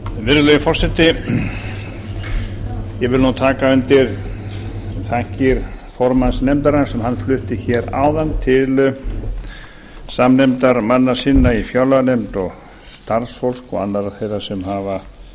virðulegi forseti ég vil nú taka undir þakkir formanns nefndarinnar sem hann flutti hér áðan til samnefndarmanna sinna í fjárlaganefnd og starfsfólks og annarra þeirra sem hafa